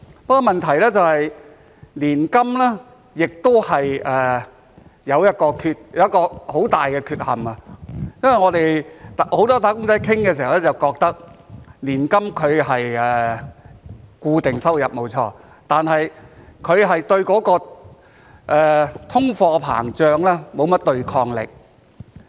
不過，問題是年金亦有一個很大的缺陷，因為我們很多"打工仔"在討論時都覺得，年金是固定收入，沒錯，但卻對通貨膨脹沒有甚麼對抗力。